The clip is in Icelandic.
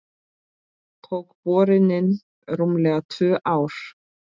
Tók borunin rúmlega tvö ár.